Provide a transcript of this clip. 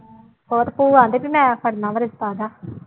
ਹੋਰ ਭੂਆ ਕਹਿੰਦੀ ਵੀ ਮੈਂ ਕਰਨਾ ਵਾਂ ਰਿਸਤਾ ਉਹਦਾ।